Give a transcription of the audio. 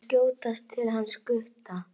Ég þarf að skjótast til hans Gutta.